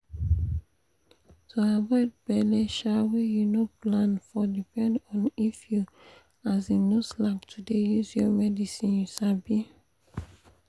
to avoid belle um wey you no plan for depend on if you um no slack to dey use your medicine. you sabi?